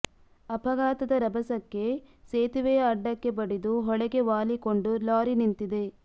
ಅಪಘಾತದ ರಭಸಕ್ಕೆ ಸೇತುವೆಯ ಅಡ್ಡಕ್ಕೆ ಬಡಿದು ಹೊಳೆಗೆ ವಾಲಿಕೊಂಡು ಲಾರಿ ನಿಂತಿದೆ